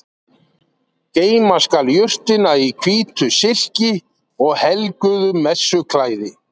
geyma skal jurtina í hvítu silki og helguðu messuklæði